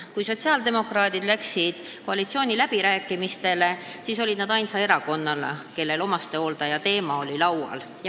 Kui sotsiaaldemokraadid läksid koalitsiooniläbirääkimistele, siis olid nad ainus erakond, kellel omastehoolduse teema laual oli.